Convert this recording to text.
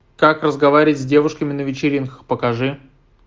как разговаривать с девушками на вечеринках покажи